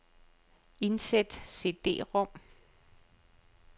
Indsæt cd-rom.